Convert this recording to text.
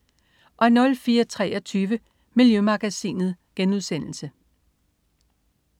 04.23 Miljømagasinet*